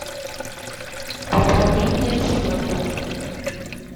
пополнение счета